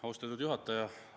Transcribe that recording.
Austatud juhataja!